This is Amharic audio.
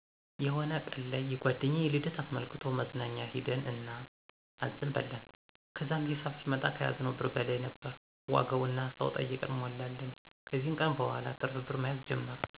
የሆነ ቀን ላይ የጓደኛዬን ልደት አስመልክቶ መዝናኛ ሄድን እና አዘን በላን። ከዛም ሂሳብ ሲመጣ ከያዝነው ብር በላይ ነበር ዋጋው እና ሰው ጠይቀን ሞሉልን። ከዚ ቀን በኋላ ትርፍ ብር መያዝ ጀመርን።